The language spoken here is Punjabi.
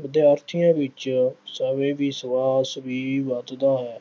ਵਿਦਿਆਰਥੀਆਂ ਵਿੱਚ ਸਵੈ-ਵਿਸ਼ਵਾਸ਼ ਵੀ ਵੱਧਦਾ ਹੈ।